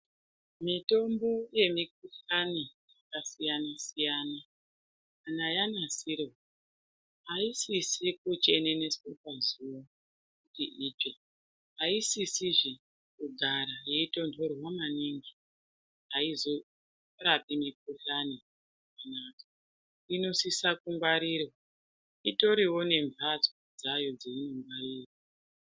Mitombo yemikhuhlani yakasiyanasiyana kana yanasirwa asisi kucheneneswa pazuwa yeitsva asisizve kugara yeitonhorwa maningi ,aizorapi mikhuhlani zvakanaka inosisa kungwarirwa intoriwo nemhatso dzayo dzeinngwarirwa.